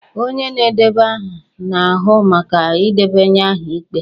Onye na-edeba aha na-ahụ maka ịdebanye aha ikpe